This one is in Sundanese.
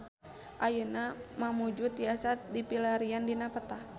Ayeuna Mamuju tiasa dipilarian dina peta